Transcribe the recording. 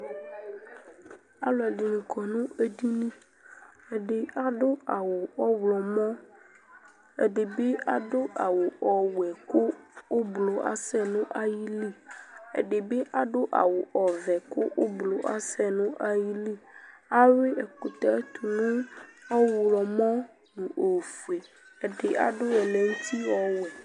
Alu ɛɖɩnɩ kɔ nu eɖɩnɩ Ɛɖɩ aɖu awu ɔwlɔmɔ, ɛɖɩbɩ aɖu awu ɔwɛ ku ublu asɛ nu ayɩlɩ Ɛɖɩɓɩ aɖu awu ɔvɛ ku ublu asɛ nu ayɩlɩ Awui ɛkutɛ tu nu ɔwlɔmɔ nu ofoe Ɛɖɩ aɖu ɛmɛ nutɩ ɔwɛ